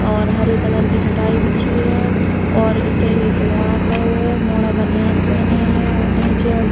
और हरे कलर की चटाई बिछी है और अते एक मोड़ा खड़ो है। मोड़ा बनयान पहने है। ओने जे --